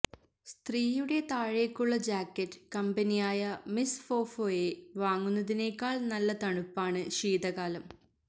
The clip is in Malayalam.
സ്ത്രീയുടെ താഴേക്കുള്ള ജാക്കറ്റ് കമ്പനിയായ മിസ്സ് ഫോഫോയെ വാങ്ങുന്നതിനേക്കാൾ നല്ല തണുപ്പാണ് ശീതകാലം